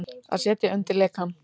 Að setja undir lekann